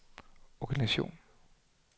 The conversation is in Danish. organisation